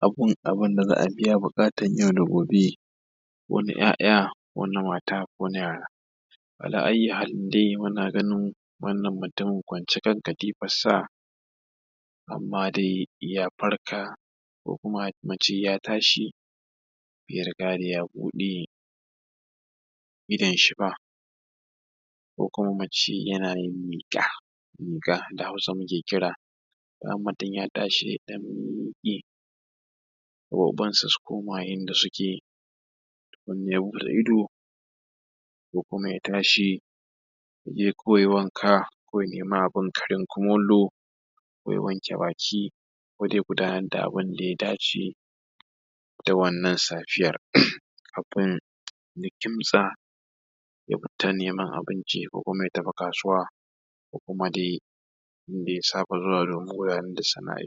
abin da za a biya buƙatun yau da gobe. Wani ‘ya’ya wani mata, wani yaya. Ala ayyi halin dai, muna ganin wannan mutumin kwance kan katifarsa, amma dai ya farka ko kuma mu ce tashi bai riga da ya buɗe idonshi ba. Ko kuma mu ce yana yin miƙa da Hausa muke kira idan mutum ya tashi don gaɓɓanka su koma yadda suke. In ya buɗe ko kuma ya tashi ya yi wanka, ko kuma ya nemi abin karya kumallo, Ya wanke baki ko dai ya gudanar da abin da ya dace da wannan safiya, ya kimtsa ya fita neman abinci, ko kuma ya tafi kasuwa ko kuma dai inda ya saba zuwa.